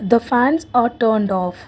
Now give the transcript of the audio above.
the fans are turned off.